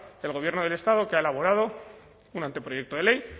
el gobierno del estado que ha elaborado un anteproyecto de ley